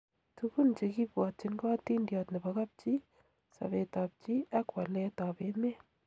Tukuun che kibwatyin ko atindiot nebo kapchii, sabet ab chii ak waleet ab emet